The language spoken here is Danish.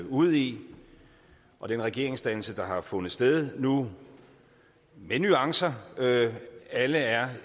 ude i og den regeringsdannelse der har fundet sted nu med nuancer alle er